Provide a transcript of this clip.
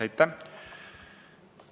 Aitäh!